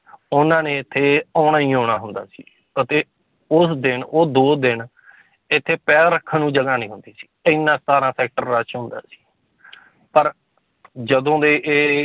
ਉਹਨਾਂ ਨੇ ਇੱਥੇ ਆਉਣਾ ਹੀ ਆਉਣਾ ਹੁੰਦਾ ਸੀ ਅਤੇ ਉਸ ਦਿਨ ਉਹ ਦੋ ਦਿਨ ਇੱਥੇ ਪੈਰ ਰੱਖਣ ਨੂੰ ਜਗ੍ਹਾ ਨੀ ਹੁੰਦੀ ਸੀ, ਇੰਨਾ ਸਤਾਰਾਂ sector rush ਹੁੰਦਾ ਸੀ ਪਰ ਜਦੋਂ ਦੇ ਇਹ